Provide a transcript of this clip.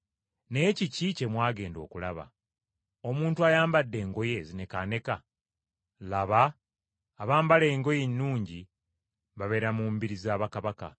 Naye kiki kye mwagenda okulaba? Omuntu ayambadde engoye ezinekaaneka? Laba abambala engoye ennungi babeera mu mbiri za bakabaka.